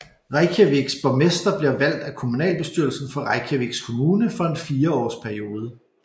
Reykjavíks borgmester bliver valgt af kommunalbestyrelsen for Reykjavíks Kommune for en fireårsperiode